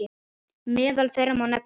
Meðal þeirra má nefna